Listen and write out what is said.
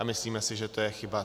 A myslíme si, že to je chyba.